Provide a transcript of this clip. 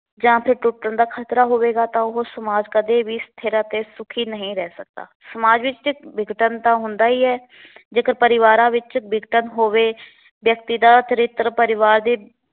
ਜਾਂ ਫਿਰ ਟੁੱਟਣ ਦਾ ਖ਼ਤਰਾ ਹੋਵੇਗਾ ਤਾਂ ਉਹ ਸਮਾਜ ਕਦੇ ਵੀ ਸਥਿਰ ਅਤੇ ਸੁਖੀ ਨਹੀਂ ਰਹਿ ਸਕਦਾ। ਸਮਾਜ ਵਿੱਚ ਵਿਘਟਨ ਤਾਂ ਹੁੰਦਾ ਈ ਐ। ਜੇਕਰ ਪਰਿਵਾਰਾਂ ਵਿੱਚ ਵਿਘਟਨ ਹੋਵੇ, ਵਿਅਕਤੀ ਦਾ ਚਰਿਤਰ ਪਰਿਵਾਰ ਦੀ